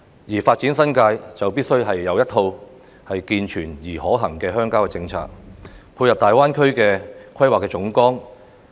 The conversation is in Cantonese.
要發展新界，就必須有一套健全而可行的鄉郊政策，配合大灣區的規劃總綱。